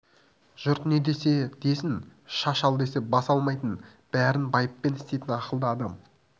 жұрт не десе десін шаш ал десе бас алмайтын бәрін байыппен істейтін ақылды адам